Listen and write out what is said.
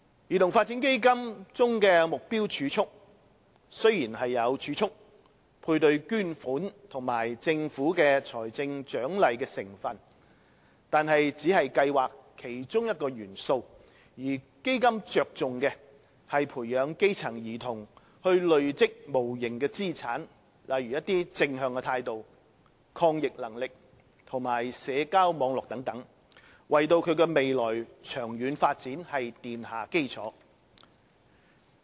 兒童發展基金中的"目標儲蓄"雖然有儲蓄、配對捐款及政府財政獎勵的成分，但只是計劃的其中一個元素，基金着重的是培養基層兒童累積無形資產，例如正向態度，抗逆能力及社交網絡等，為其未來長遠發展奠下基礎。